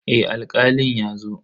Eh Alkalin ya zo.